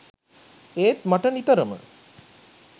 ඒත් මට නිතරම